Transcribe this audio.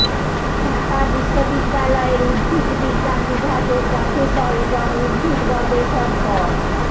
ঢাকা বিশ্ববিদ্যালয়ের উদ্ভিদ বিজ্ঞান বিভাগের প্রফেসর এবং উদ্ভিদ গবেষক ড